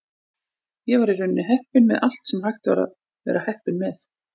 Ég var í rauninni heppinn með allt sem hægt var að vera heppinn með.